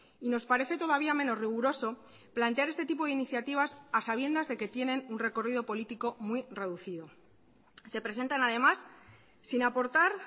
y nos parece todavía menos riguroso plantear este tipo de iniciativas a sabiendas de que tienen un recorrido político muy reducido se presentan además sin aportar